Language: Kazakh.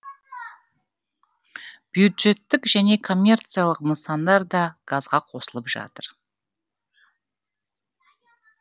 бюджеттік және коммерциялық нысандар да газға қосылып жатыр